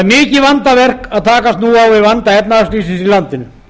mikið vandaverk að takast nú á við vanda efnahagslífsins í landinu